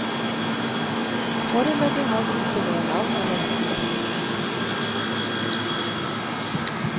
Foreløpig har vi ikke noe navn eller konsept.